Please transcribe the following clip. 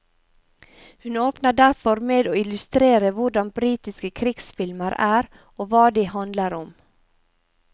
Hun åpner derfor med å illustrere hvordan britiske krigsfilmer er og hva de handler om.